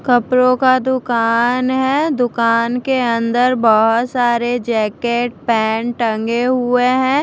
कपड़ों का दुकान है दुकान के अंदर बहुत सारे जैकेट पैन्ट टंगे हुए हैं।